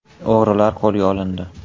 O‘g‘rilar qo‘lga olindi.